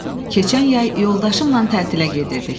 Keçən yay yoldaşımla tətilə gedirdik.